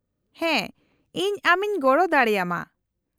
-ᱦᱮᱸ, ᱤᱧ ᱟᱢ ᱤᱧ ᱜᱚᱲᱚ ᱫᱟᱲᱮᱭᱟᱢᱟ ᱾